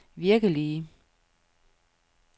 virkelige